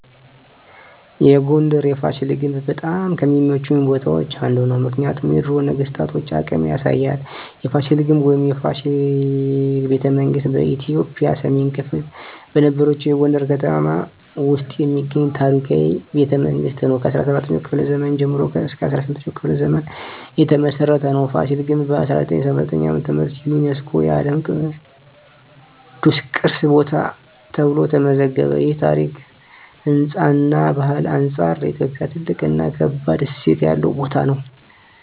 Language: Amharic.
የጎንደር የፋሲል ግንብ በጣም ከሚመቹኝ ቦታዎች አንዱ ነው። ምክንያቱም የድሮ ነገስታቶን አቅም ያሳያል። የፋሲል ግንብ ወይም “የፋሲል ቤተመንግስት ” በኢትዮጵያ ሰሜን ክፍል በነበረችው የጎንደር ከተማ ውስጥ የሚገኝ ታሪካዊ ቤተመንግስት ነው። ከ17ኛው ክፍለ ዘመን ጀምሮ እስከ 18ኛው ክፍለ ዘመን የተመሰረተ ነው። ፋሲል ግንብ በ1979 ዓ.ም. ዩነስኮ የዓለም ቅዱስ ቅርስ ቦታ ተብሎ ተመዘገበ። ይህ ከታሪክ፣ ህንፃ እና ባህል አንጻር ለኢትዮጵያ ትልቅ እና ከባድ እሴት ያለው ቦታ ነው።